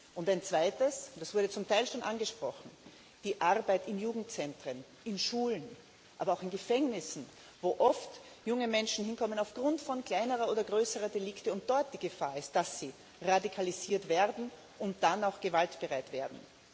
Und ein Zweites das wurde zum Teil schon angesprochen Die Arbeit in Jugendzentren, in Schulen, aber auch in Gefängnissen, wo oft junge Menschen hinkommen aufgrund von kleineren oder größeren Delikten und dort die Gefahr besteht, dass sie radikalisiert werden und dann auch gewaltbereit werden.